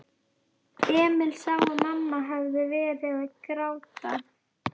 Emil sá að mamma hafði verið að gráta.